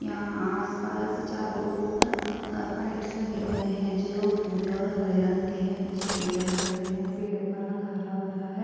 यहाँ आस-पास चारों और पाइप्स लगे हुए हैं जो भूरे और हरे रंग के हैं पीछे पेड़ दिखाई दे रहे हैं पेड़ो का रंग हरा-भरा है।